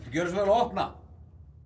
gjöra svo vel að opna